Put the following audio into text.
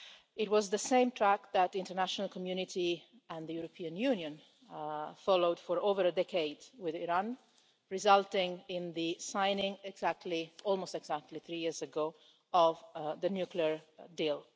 It was the same track that the international community and the European Union followed for over a decade with Iran, resulting in the signing, almost exactly three years ago, of the nuclear deal.